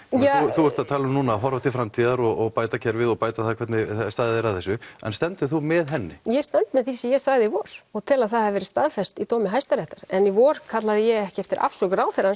þú ert að tala um núna að horfa til framtíðar og bæta kerfið og bæta það hvernig staðið er að þessu en stendur þú með henni ég stend með því sem ég sagði í vor og tel að það hafi verið staðfest í dómi hæsta réttar en í vor kallaði ég ekki eftir afsögn ráðherrans